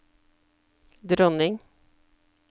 dronning